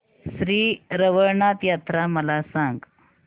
श्री रवळनाथ यात्रा मला सांग